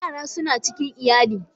Yara suna cikin iyali